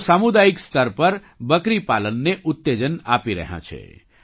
તેઓ સામુદાયિક સ્તર પર બકરી પાલનને ઉત્તેજન આપી રહ્યાં છે